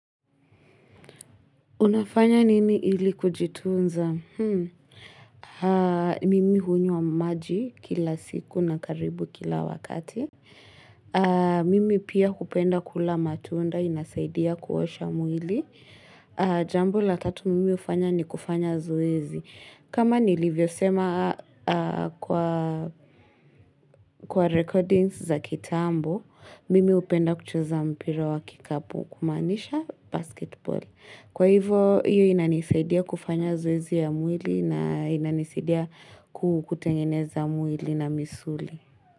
Unafanya nini ili kujitunza? Mimi hunywa maji kila siku na karibu kila wakati. Mimi pia hupenda kula matunda inasaidia kuosha mwili. Jambo la tatu mimi hufanya ni kufanya zoezi. Kama nilivyo sema kwa recordings za kitambo, mimi hupenda kucheza mpira wa kikapu kumaanisha basketball. Kwa hivyo, hiyo inanisaidia kufanya zoezi ya mwili na inanisaidia kutengeneza mwili na misuli.